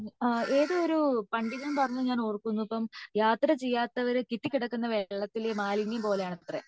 അഹ് ഏതോ ഒരു പണ്ഡിതൻ പറഞ്ഞ ഞാൻ ഓർക്കുന്നു യാത്ര ചെയ്യാത്തവർ കെട്ടികിടക്കുന്ന വെള്ളത്തിലെ മാലിന്യം പോലെ ആണത്രെ